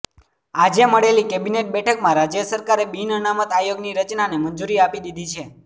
આજે મળેલી કેબિનેટ બેઠકમાં રાજ્ય સરકારે બિન અનામત આયોગની રચનાને મંજૂરી આપી દીધી છે